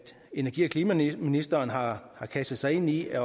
energi og klimaministeren har kastet sig ind i at